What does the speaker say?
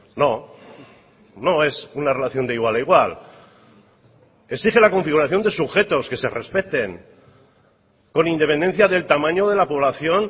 no no es una relación de igual a igual exige la configuración de sujetos que se respeten con independencia del tamaño de la población